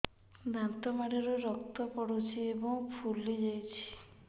ଦାନ୍ତ ମାଢ଼ିରୁ ରକ୍ତ ପଡୁଛୁ ଏବଂ ଫୁଲି ଯାଇଛି